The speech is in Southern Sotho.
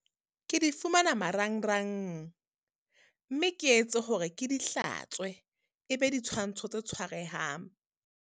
Ke di fumana marangrang, mme ke etse hore ke di hlatswe. E be ditshwantsho tse tshwarehang.